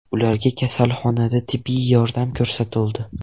Ularga kasalxonada tibbiy yordam ko‘rsatildi.